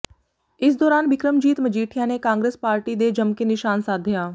ਇਸ ਦੌਰਾਨ ਬਿਕਰਮਜੀਤ ਮਜੀਠਿਆ ਨੇ ਕਾਂਗਰਸ ਪਾਰਟੀ ਦੇ ਜਮਕੇ ਨਿਸ਼ਾਨ ਸਾਧਿਆ